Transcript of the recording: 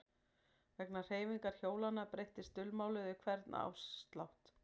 Vegna hreyfingar hjólanna breyttist dulmálið við hvern áslátt.